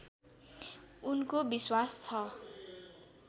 उनको विश्वास छ